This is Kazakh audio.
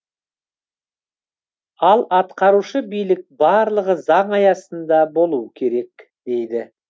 ал атқарушы билік барлығы заң аясында болуы керек дейді